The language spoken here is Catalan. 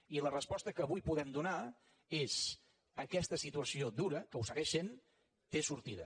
i la resposta que avui podem donar és aquesta situació dura que ho segueix sent té sortida